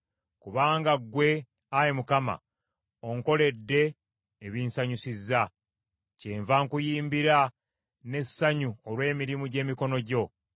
Kubanga ggwe, Ayi Mukama , onkoledde ebinsanyusizza; kyenva nkuyimbira n’essanyu olw’emirimu gy’emikono gyo.